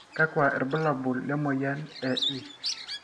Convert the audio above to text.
kakua irbulabol le moyian e is?